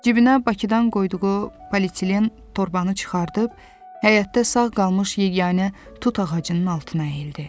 Cibinə Bakıdan qoyduğu politilen torbanı çıxardıb, həyətdə sağ qalmış yeganə tut ağacının altına əyildi.